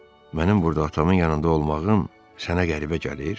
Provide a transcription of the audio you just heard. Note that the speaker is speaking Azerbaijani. mənim burda atamın yanında olmağım sənə qəribə gəlir?